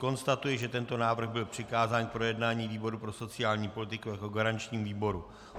Konstatuji, že tento návrh byl přikázán k projednání výboru pro sociální politiku jako garančnímu výboru.